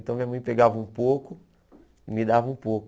Então minha mãe pegava um pouco e me dava um pouco.